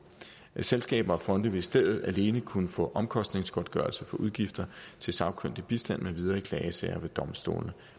selskaber og fonde vil i stedet alene kunne få omkostningsgodtgørelse for udgifter til sagkyndig bistand med videre i klagesager ved domstolene